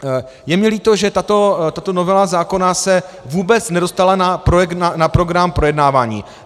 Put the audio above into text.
Je mi líto, že tato novela zákona se vůbec nedostala na program projednávání.